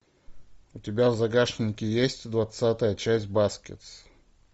у тебя в загашнике есть двадцатая часть баскетс